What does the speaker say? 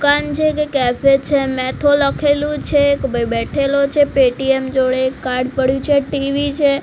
દુકાન છે કે કેફે છે મેથો લખેલુ છે એક ભાઈ બેઠેલો છે પેટીએમ જોડે એક કાર્ડ પડ્યુ છે ટી_વી છે.